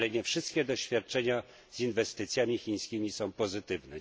Ale nie wszystkie doświadczenia z inwestycjami chińskimi są pozytywne.